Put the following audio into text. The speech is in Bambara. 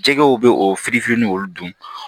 Jɛgɛw bɛ o fili fili ni olu dun